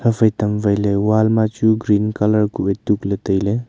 haphai tamwai le wall ma chu green colour ku wai tukle taile.